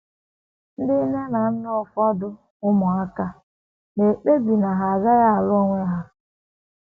Ndị nne na nna nke ụmụaka ụfọdụ na - ekpebi na ha agaghị alụ onwe ha.